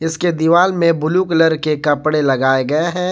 उसके दीवाल में ब्लू कलर के कपड़े लगाए गए हैं।